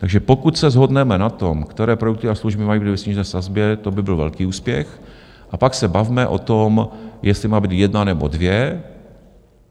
Takže pokud se shodneme na tom, které produkty a služby mají být ve snížené sazbě, to by byl velký úspěch, a pak se bavme o tom, jestli má být jedna, nebo dvě.